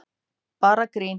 Bara grín!